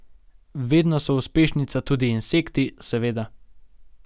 Vedno so uspešnica tudi insekti, seveda.